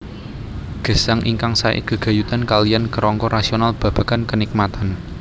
Gesang ingkang sae gegayutan kaliyan kerangka rasional babagan kenikmatan